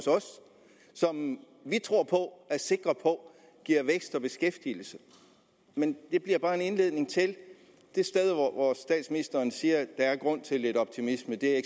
som vi tror på og er sikre på giver vækst og beskæftigelse men det er bare en indledning til det sted hvor statsministeren siger at der er grund til lidt optimisme er